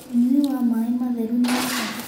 Nyũĩ wa maĩ matherũ nĩ wa bata